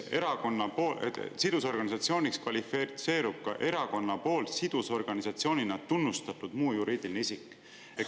"Sidusorganisatsiooniks kvalifitseerub ka erakonna poolt sidusorganisatsioonina tunnustatud muu juriidiline isik.